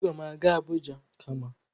Agam aga Abuja kama.